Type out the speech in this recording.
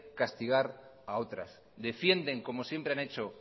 castigar a otras defienden como siempre han hecho